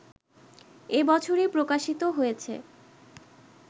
এ বছরই প্রকাশিত হয়েছে